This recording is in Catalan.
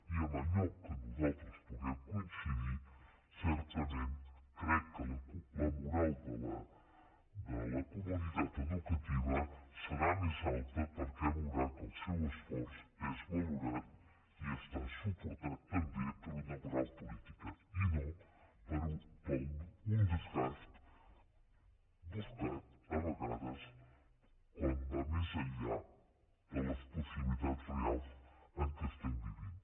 i en allò en què nosaltres puguem coincidir certament crec que la moral de la comunitat educativa serà més alta perquè veurà que el seu esforç és valorat i està suportat també per una moral política i no per un desgast buscat a vegades quan va més enllà de les possibilitats reals en què estem vivint